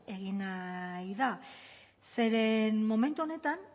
egin nahi da zeren momentu honetan